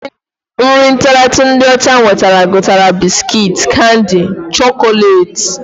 Nri ntaratụ ndị ọcha wetara gụnyere biskit, Kandi, chọkọleeti